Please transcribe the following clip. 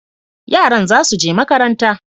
Yaran za su je makaranta,